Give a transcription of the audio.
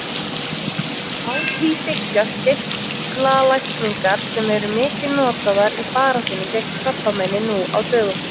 Á því byggjast geislalækningar sem eru mikið notaðar í baráttunni gegn krabbameini nú á dögum.